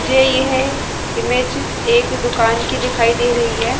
यही है इमेज एक दुकान की दिखाई दे रही है।